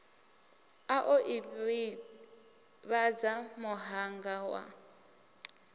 a o ivhadza muhanga wa